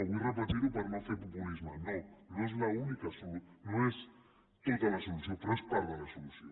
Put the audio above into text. vull repetir ho per no fer populisme no no és l’única no és tota la solució però és part de la solució